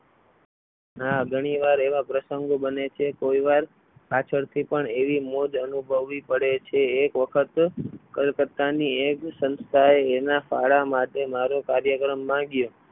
ના ઘણીવાર એવા પ્રસંગો બને છે કોઈ વાર પાછળથી પણ એવી મોજ અનુભવી પડે છે તે એક વખત કલકત્તાની એક સંસ્થાએ એના ફાળા માટે મારો કાર્યક્રમ માગ્યો.